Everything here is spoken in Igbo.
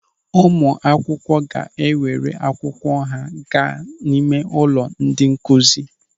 Ụmụ akwụkwọ ga-ewere akwụkwọ ha gaa n'ime ụlọ ndị nkụzi.